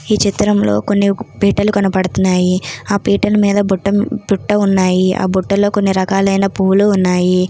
ఈ చిత్రంలో కొన్ని పీటలు కనపడుతున్నాయి ఆ పీటల మీద బుట్ట బుట్ట ఉన్నాయి ఆ బుట్టలో కొన్ని రకాలైన పూలు ఉన్నాయి